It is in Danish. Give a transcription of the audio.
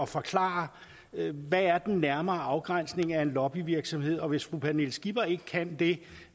forklare hvad der er den nærmere afgrænsning af en lobbyvirksomhed og hvis fru pernille skipper ikke kan det